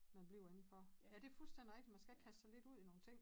Man bliver inden for ja det fuldstændig rigtigt man skal kaste sig lidt ud i nogle ting